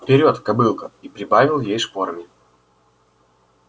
вперёд кобылка и прибавил ей шпорами